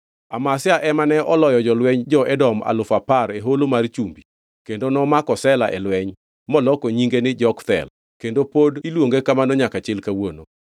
Amazia ema ne oloyo jolweny jo-Edom alufu apar e holo mar Chumbi kendo nomako Sela e lweny, moloko nyinge ni Jokthel, kendo pod iluonge kamano nyaka chil kawuono.